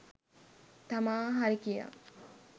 තමා හරි කියා.